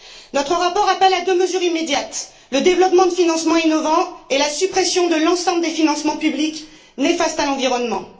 Notre rapport appelle à deux mesures immédiates le développement de financements innovants et la suppression de l'ensemble des financements publics néfastes à l'environnement.